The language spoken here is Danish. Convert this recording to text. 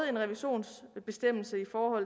en revisionsbestemmelse for